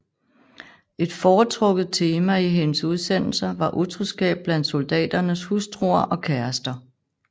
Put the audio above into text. Et foretrukket tema i hendes udsendelser var utroskab blandt soldaternes hustruer og kærester